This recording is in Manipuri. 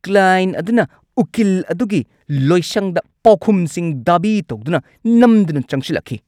ꯀ꯭ꯂꯥꯏꯟꯠ ꯑꯗꯨꯅ ꯎꯀꯤꯜ ꯑꯗꯨꯒꯤ ꯂꯣꯏꯁꯪꯗ ꯄꯥꯎꯈꯨꯝꯁꯤꯡ ꯗꯥꯕꯤ ꯇꯧꯗꯨꯅ ꯅꯝꯗꯅ ꯆꯪꯁꯤꯜꯂꯛꯈꯤ!